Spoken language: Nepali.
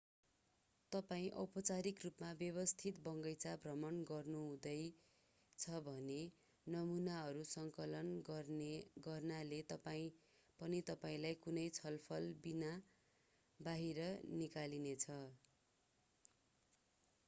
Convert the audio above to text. तपाईं औपचारिक रूपमा व्यवस्थित बगैंचा भ्रमण गर्नुहुँदैछ भने नमुनाहरू सङ्कलन गर्नाले पनि तपाईंलाई कुनै छलफलबिनाबाहिर निकालिनेछ